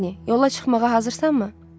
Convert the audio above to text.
Maqni, yola çıxmağa hazırsanmı?